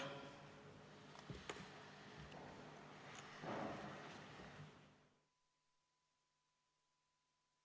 Istungi lõpp kell 16.22.